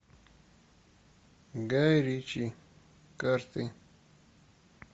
гай ричи карты